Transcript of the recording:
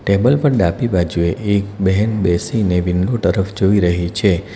Table પર ડાબી બાજુએ એક બહેન બેસીને વિન્ડો તરફ જોઈ રહી છે.